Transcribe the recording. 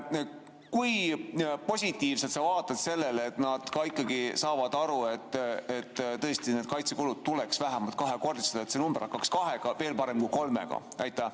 Kui positiivselt sa vaatad sellele, et nad ka ikkagi saavad aru, et tõesti kaitsekulud tuleks vähemalt kahekordistada, et see number hakkaks kahega, veel parem kolmega?